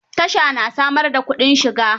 Tasha na samar da kudin shiga.